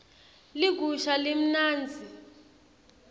ligusha limnandzi